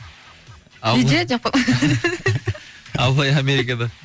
үйде деп қой абылай америкада